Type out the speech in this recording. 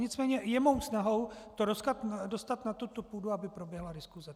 Nicméně je mou snahou to dostat na tuto půdu, aby proběhla diskuse.